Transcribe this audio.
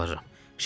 Yalvarıram.